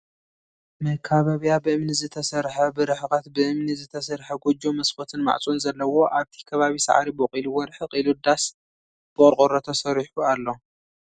መካበብያ ብእምኒ ዝተሰርሐ ብርሕቀት ብእምኒ ዝተሰርሐ ጎጆ መስኮትን ማዕፆን ዘለዎ ። ኣብቲ ከባቢ ሳዕሪ በቂልዎ ርሕቅ ኢሉ ዳስ ብቆርቆሮ ተሰሪሑ ኣሎ ።